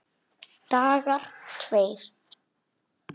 Dagar tveir